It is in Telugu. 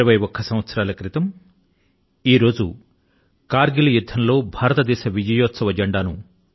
21 సంవత్సరాల క్రితం ఇదే రోజు న మన సైన్యం కర్ గిల్ యుద్ధం లో విజయ పతాక ను ఎగురవేసింది